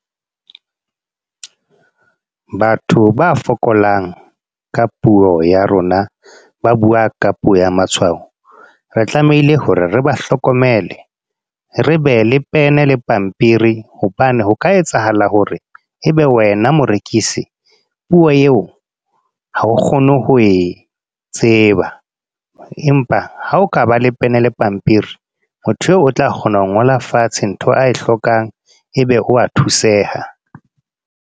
Batho ba fokolang, ka puo ya rona. Ba bua ka puo ya matshwao. Re tlamehile hore re ba hlokomele. Re be le pen le pampiri, hobane ho ka etsahala hore, ebe wena morekisi, puo eo ha o kgone ho e tseba. Empa ha o ka ba le pen le pampiri. Motho eo o tla kgona ho ngola fatshe ntho ae hlokang, ebe o wa thuseha.